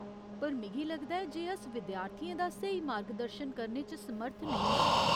पर, मिगी लगदा ऐ जे अस विद्यार्थियें दा स्हेई मार्गदर्शन करने च समर्थ नेईं आं ।